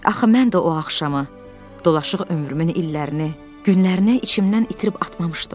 Axı mən də o axşamı dolaşıq ömrümün illərini, günlərinə içimdən itirib atmamışdım.